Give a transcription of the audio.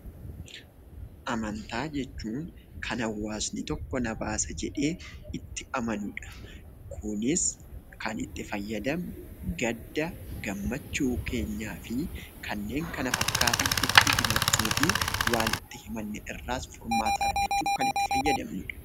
Amantaa jechuun kan hawaasni tokko na baasa jedhee itti amanudha. Kunis kan itti fayyadamnu gadda, gammachuu keenyaa fi kanneen kana fakkaatu itti himachuufi waan itti himanne irraas furmaata argachuuf kan itti fayyadamnudha.